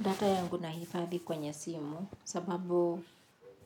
Data yangu nahifadhi kwenye simu sababu